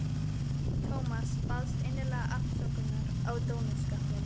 Thomas baðst innilega afsökunar á dónaskapnum.